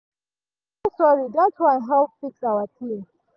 him say sorry dat one help fix our ting.